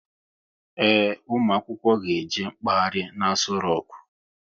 Ee, ụmụ akwụkwọ ga eje mkpaghari n'Aso roku